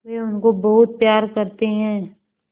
वे उनको बहुत प्यार करते हैं